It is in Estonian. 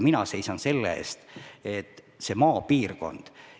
Mina seisan maapiirkonna eest.